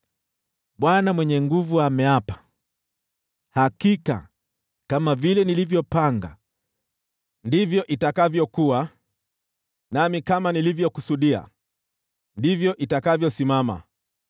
Bwana Mwenye Nguvu Zote ameapa, “Hakika, kama vile nilivyopanga, ndivyo itakavyokuwa, nami kama nilivyokusudia, ndivyo itakavyosimama.